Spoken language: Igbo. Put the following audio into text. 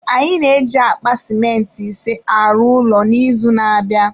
Anyị na-eji akpa simenti ise arụ ụlọ n’izu na-abịa